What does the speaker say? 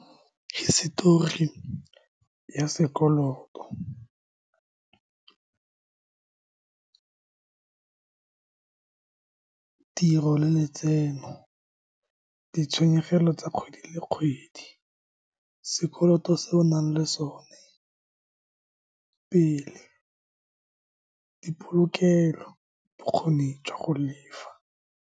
Hisitori ya sekoloto, tiro le letseno, ditshenyegelo tsa kgwedi le kgwedi, sekoloto se o nang le sone pele, dipolokelo, bokgoni jwa go lefa.